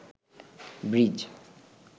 bridge